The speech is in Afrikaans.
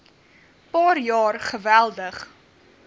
paar jaar geweldig